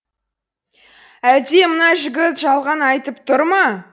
әлде мына жігіт жалған айтып тұр ма